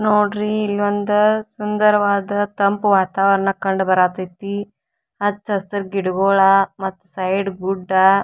ನೋಡ್ರಿ ಇಲ್ಲೊಂದು ಸುಂದರವಾದ ತಂಪು ವಾತಾವರಣ ಕಂಡುಬರತೈತಿ ಹಚ್ಚ ಹಸಿರು ಗಿಡಗಳ ಮತ್ತ್ ಸೈಡ್ ಗುಡ್ಡ --